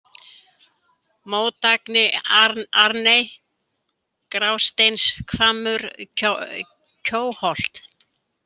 Mótangi, Arney, Grásteinshvammur, Kjóholt